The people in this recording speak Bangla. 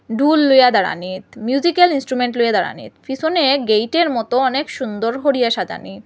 ঢুল লইয়া দাঁড়ানিত মিউজিক্যাল ইন্সট্রুমেন্ট লইয়া দাঁড়ানিত পিসোনে গেইটের মত অনেক সুন্দর হরিয়া সাজানি।